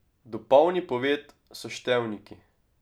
Dopolni poved s števniki.